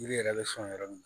Yiri yɛrɛ bɛ sɔn yɔrɔ min